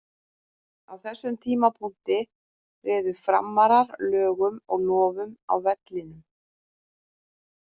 Á þessum tímapunkti réðu Framarar lögum og lofum á vellinum.